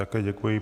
Také děkuji.